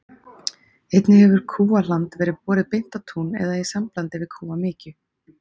Einnig hefur kúahland verið borið beint á tún eða í samblandi við kúamykju.